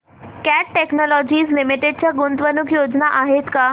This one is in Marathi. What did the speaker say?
कॅट टेक्नोलॉजीज लिमिटेड च्या गुंतवणूक योजना आहेत का